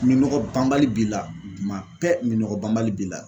Minɔgɔ banbali b'i la tuma bɛɛ minɔgɔ banbali b'i la